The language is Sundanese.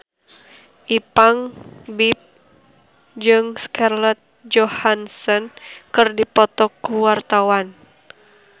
Ipank BIP jeung Scarlett Johansson keur dipoto ku wartawan